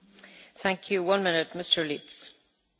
Frau Präsidentin, sehr geehrte Hohe Vertreterin!